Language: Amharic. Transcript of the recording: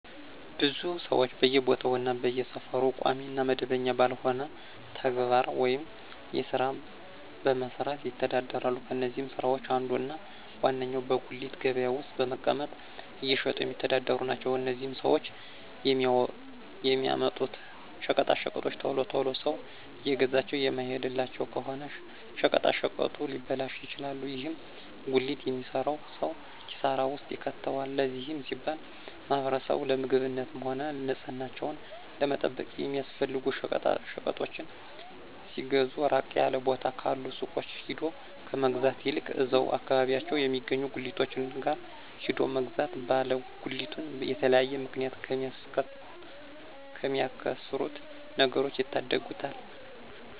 ብዙ ሰወች በየቦታው እና በየሰፈሩ ቋሚ እና መደበኛ ባልሆነ ተግባር ወይም ስራ በመስራት ይተዳደራሉ። ከነዚህም ስራወች አንዱ እና ዋነኛው በጉሊት ገበያ ውስጥ በመቀመጥ እየሸጡ የሚተዳደሩ ናቸው። እነዚህም ሰወች የሚያመጡት ሸቀጣሸቀጦች ቶሎ ቶሎ ሰው እየገዛቸው የማይሄድላቸው ከሆነ ሸቀጣሸቀጡ ሊበላሹ ይችላሉ። ይህም ጉሊት የሚሰራውን ሰው ኪሳራ ውስጥ ይከተዋል። ለዚህም ሲባል ማህበረሰቡ ለምግብነትም ሆነ ንፅህናቸውን ለመጠበቅ የሚያስፈልጉ ሸቀጣሸቀጦችን ሲገዙ ራቅ ያለ ቦታ ካሉ ሱቆች ሄዶ ከመግዛት ይልቅ እዛው አከባቢያቸው የሚገኙ ጉሊቶች ጋር ሄዶ መግዛት ባለ ጉሊቱን በተለያየ ምክንያት ከሚያከስሩት ነገሮች ይታደጉታል።